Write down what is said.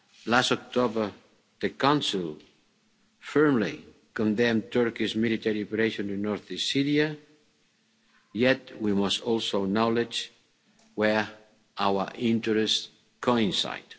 Last October, the Council firmly condemned Turkey's military operation in north east Syria, yet we must also acknowledge where our interests coincide.